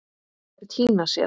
Þær týna sér.